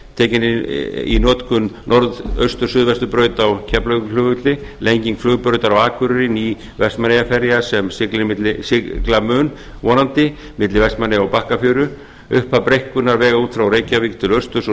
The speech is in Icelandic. tekin er í notkun norðaustur suðvesturbraut á keflavíkurflugvelli lenging flugbraut á akureyri ný vestmannaeyjaferja sem sigla mun vonandi milli vestmannaeyja og bakkafjöru upphaf breikkunar vega út frá reykjavík til austurs og